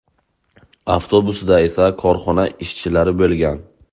Avtobusda esa korxona ishchilari bo‘lgan.